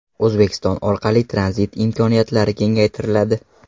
O‘zbekiston orqali tranzit imkoniyatlari kengaytiriladi.